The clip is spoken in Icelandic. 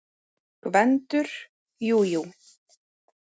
GVENDUR: Jú, jú.